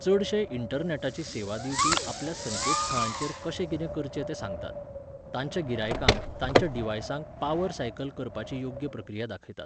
चडशे इंटरनॅटाची सेवा दिवपी आपल्या संकेतथळांचेर कशें कितें करचें तें सांगतात. तांच्या गिरायकांक, तांच्या डिव्हायसांक, पावर सायकल करपाची योग्य प्रक्रिया दाखयतात.